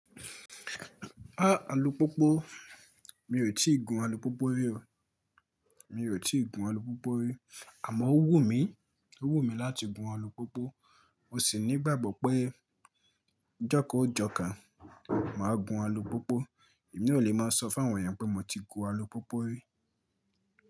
Ah alùpópó, mi ò tíì gun alùpópó rí o. Mi ò tí ì gun alùpópó rí, àmọ́ ó wù mí, ó wù mí láti gun alùpópó. Mo sì ní ìgbàgbọ́ pé joko jọkan màá gun alùpópó. Èmi ò le máa sọ fún àwọn ènìyàn pé mo ti gun alùpópó rí.